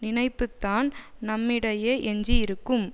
நினைப்புத்தான் நம்மிடையே எஞ்சி இருக்கும்